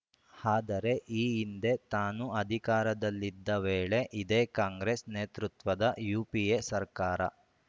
ಆದರೆ ಈ ಹಿಂದೆ ತಾನು ಅಧಿಕಾರದಲ್ಲಿದ್ದ ವೇಳೆ ಇದೇ ಕಾಂಗ್ರೆಸ್‌ ನೇತೃತ್ವದ ಯುಪಿಎ ಸರ್ಕಾರ